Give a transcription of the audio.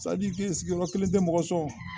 sigiyɔrɔ kelen tɛ mɔgɔ sɔn